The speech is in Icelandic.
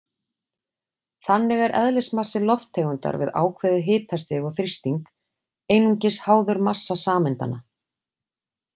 Þannig er eðlismassi lofttegundar við ákveðið hitastig og þrýsting einungis háður massa sameindanna.